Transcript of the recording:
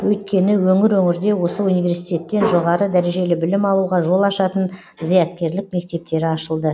өйткені өңір өңірде осы университеттен жоғары дәрежелі білім алуға жол ашатын зияткерлік мектептері ашылды